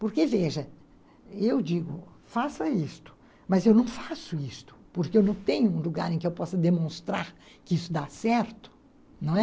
Porque, veja, eu digo, faça isto, mas eu não faço isto, porque eu não tenho um lugar em que eu possa demonstrar que isso dá certo, não é?